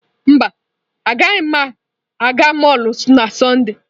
Mba, agaghị m aga mọlụ na Sọnde.